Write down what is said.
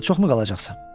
Yaponiyada çoxmu qalacaqsan?